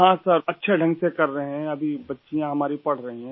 हाँ सर अच्छे ढ़ंग से कर रहे हैं अभी बच्चियाँ हमारी पढ़ रहीं हैं